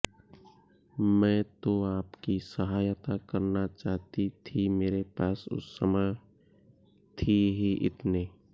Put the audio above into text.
मैं तो आपकी सहायता करना चाहती थी मेरे पास उस समय थे ही इतने